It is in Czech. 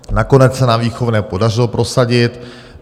Nakonec se nám výchovné podařilo prosadit.